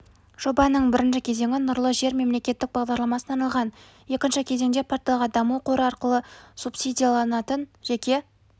жобаның бірінші кезеңі нұрлы жер мемлекеттік бағдарламасына арналған екінші кезеңде порталға даму қоры арқылы субсидияланатын жеке